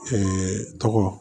tɔgɔ